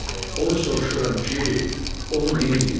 Onu soruşuram ki, onu neyləyim?